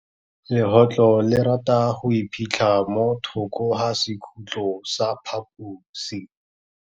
Legôtlô le rata go iphitlha mo thokô ga sekhutlo sa phaposi.